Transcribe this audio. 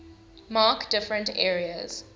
mark different areas